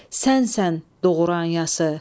Sənsən doğranası.